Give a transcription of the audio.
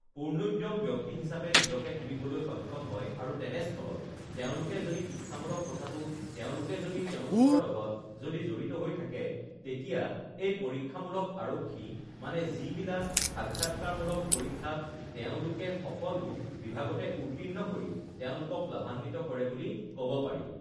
uhh পূৰ্ণোদ্যম ব্যক্তি হিচাপে নিজকে তুলিবলৈ সক্ষম হয় আৰু তেনেস্থলত তেওঁলোকে যদি শিক্ষামূলক কথাটো তেওঁলোকে যদি তেওঁলোকৰ লগত যদি জড়়িত হৈ থাকে তেতিয়া এই পৰীক্ষামূলক আৰক্ষী মানে যিবিলাক সাক্ষাৎকাৰমূলক পৰীক্ষাত তেওঁলোকে সকলো বিভাগতে উৰ্ত্তীৰ্ণ কৰি তেওঁলোকক লাভাম্বিত কৰে বুলি ক'ব পাৰি